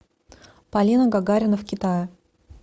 полина гагарина в китае